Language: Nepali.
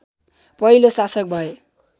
पहिलो शासक भए